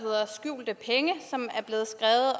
hedder skjulte penge